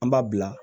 An b'a bila